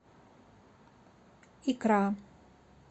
икра